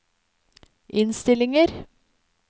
innstillinger